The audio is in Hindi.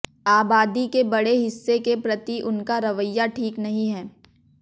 आबादी के बड़े हिस्से के प्रति उनका रवैया ठीक नहीं है